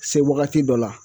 Se wagati dɔ la